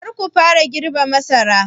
Kar ku fara girbe masaran!